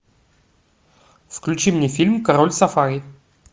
включи мне фильм король сафари